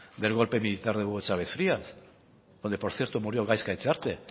del golpe militar de hugo chávez frías donde por cierto murió gaizka etxearte